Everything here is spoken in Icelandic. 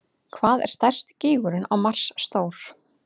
Hvað er stærsti gígurinn á Mars stór?